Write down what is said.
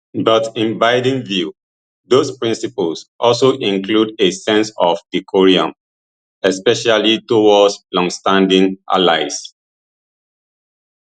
but in biden view those principles also include a sense of decorum especially towards longstanding allies